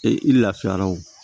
Ee i lafiyara wo